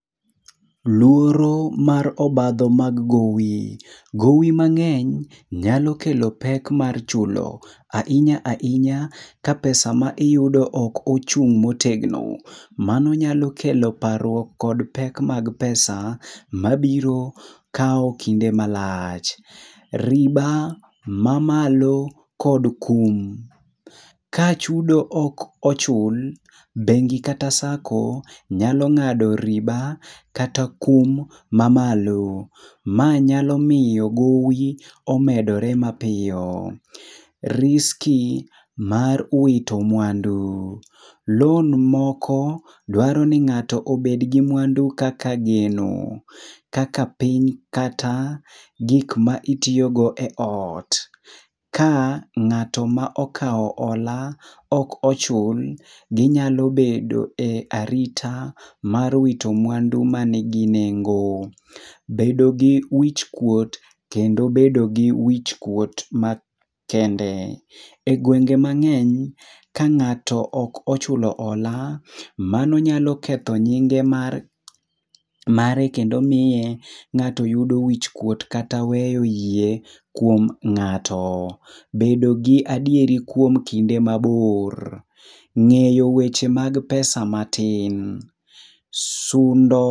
Luoro mar obadho mag gowi, gowi mang'eny nyalo kelo pek mar chulo ahinya ahinya ka pesa ma iyudo ok ochung' motegno. Mano nyalo kelo parruok kod pek mag pesa mabiro kawo kinde malach. Riba mamalo kod kum. Ka chudo ok ochul, bengi kata sako nyalo ng'ado riba kata kum mamalo. Ma nyalo miyo gowi omedore mapiyo. Riski mar wito mwandu. Loan moko dwaro ni ng'ato obedgi mwandu kaka geno, kaka piny kata gikma itiyogo e ot. Ka ng'ato ma okawo ola ok ochul, ginyalo bedo e arita mar wito mwandu manigi nengo. Bedo gi wichkuot kendo bedo gi wichkuot makende. E gwenge mang'eny, ka ng'ato ok ochulo ola, mano nyalo ketho nyinge mare kendo miye ng'ato yudo wichkuot kata we wiye kuom ng'ato. Bedo gi adieri kuom kinde mabor. Ng'eyo weche mag pesa matin, sundo.